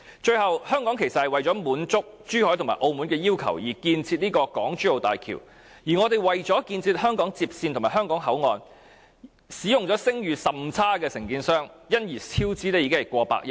最後，香港其實是為了滿足珠海和澳門的要求，才參與興建港珠澳大橋，而為了建設香港接線和香港口岸，我們更使用了聲譽甚差的承建商，因而超支過百億元。